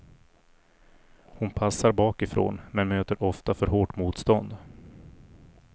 Hon passar bakifrån men möter ofta för hårt motstånd.